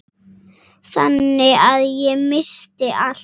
Þannig að ég missti allt.